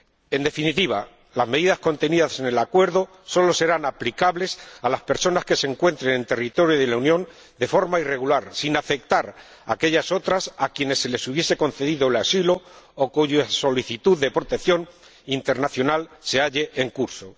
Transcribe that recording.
En definitiva, las medidas contenidas en el acuerdo solo serán aplicables a las personas que se encuentren en territorio de la Unión de forma irregular, sin afectar a aquellas otras a quienes se les hubiese concedido el asilo o cuya solicitud de protección internacional se halle en curso.